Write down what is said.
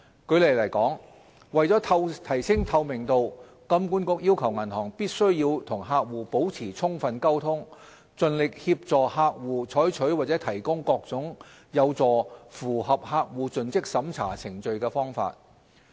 舉例來說，為了提升透明度，金管局要求銀行必須與客戶保持充分溝通，盡力協助客戶採取或提供各種有助符合客戶盡職審查程序的方法。